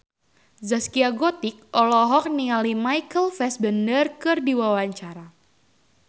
Zaskia Gotik olohok ningali Michael Fassbender keur diwawancara